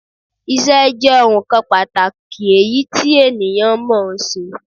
Ìṣé jé ohun kan pàtàkì èyí ti ènìyàn mò ó ṣe